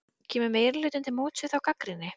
Kemur meirihlutinn til móts við þá gagnrýni?